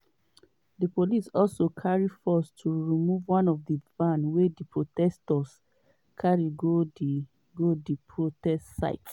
di police also carry force to remove one van wey di demonstrators carry go di go di protest site